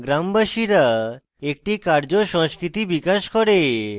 গ্রামবাসীরা একটি কার্য সংস্কৃতি বিকশিত করে